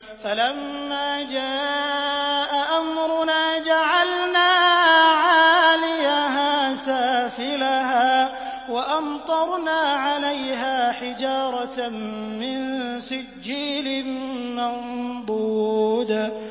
فَلَمَّا جَاءَ أَمْرُنَا جَعَلْنَا عَالِيَهَا سَافِلَهَا وَأَمْطَرْنَا عَلَيْهَا حِجَارَةً مِّن سِجِّيلٍ مَّنضُودٍ